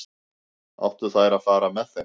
Áttu þær að fara með þeim?